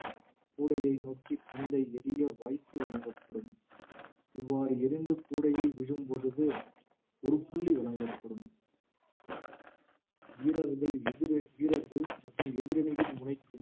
கூடையை நோக்கி பந்தை எறிய வாய்ப்பு வழங்கப்படும் இவ்வாறு எறிந்து கூடையில் விழும் பொழுது ஒரு புள்ளி வழங்கப்படும் வீரர்கள் எதிர~ வீரர்கள் மற்றும் எதிரணியின் முனைக்கும்